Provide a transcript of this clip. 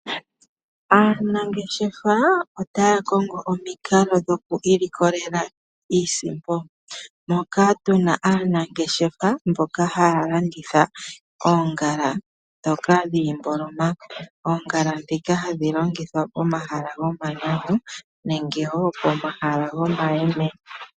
Aanangeshefa otaya kongo omikalo dhoku ilikolela iisimpo moka tu na aanangeshefa mboka haya landitha oongala ndhoka dhiimboloma. Oongala ndhika hadhi longithwa pomahala gomanyanyu nenge wo pomahala gomayeme.